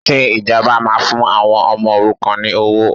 Ṣé ìjọba máa fún àwọn ọmọ òrukàn ní owó?